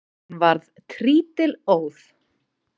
Hún varð trítilóð.